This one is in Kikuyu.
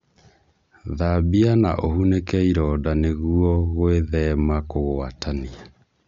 Thambia na ũhunīke ironda nĩguo gwĩthema kũgwatania